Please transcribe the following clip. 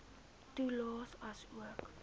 toelaes aansoek